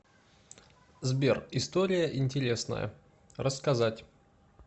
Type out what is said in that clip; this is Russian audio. сбер история интересная рассказать